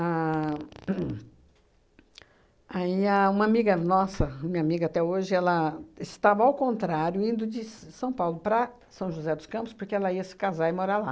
hum hum aí a uma amiga nossa, minha amiga até hoje, ela estava ao contrário, indo de S São Paulo para São José dos Campos, porque ela ia se casar e morar lá.